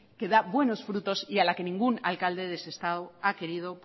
que da buenos frutos y a la que ningún alcalde de sestao ha querido